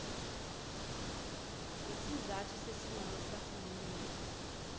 ngesizathu sesinqumo sikahulumeni